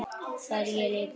Það er ég líka